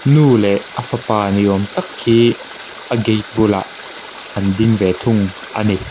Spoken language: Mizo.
nu leh a fapa ni awm tak hi a gate bulah an ding ve thung a ni.